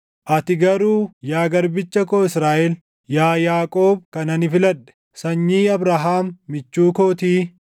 “Ati garuu, yaa garbicha koo Israaʼel, yaa Yaaqoob kan ani filadhe, sanyii Abrahaam michuu kootii,